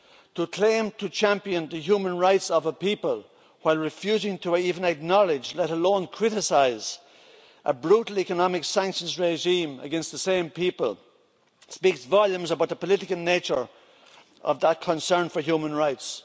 To claim to champion the human rights of a people, while refusing even to acknowledge, let alone criticise, a brutal economic sanctions regime against the same people speaks volumes about the political nature of that concern for human rights.